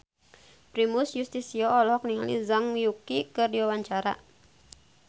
Primus Yustisio olohok ningali Zhang Yuqi keur diwawancara